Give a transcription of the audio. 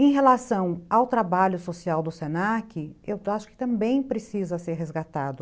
Em relação ao trabalho social do se na que, eu acho que também precisa ser resgatado.